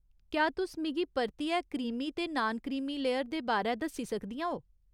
क्या तुस मिगी परतियै क्रीमी ते नान क्रीमी लेयर दे बारै दस्सी सकदियां ओ ?